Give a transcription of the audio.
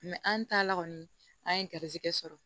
an taala kɔni an ye garizigɛ sɔrɔ